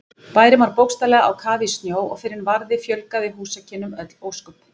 Bærinn var bókstaflega á kafi í snjó og fyrr en varði fjölgaði húsakynnum öll ósköp.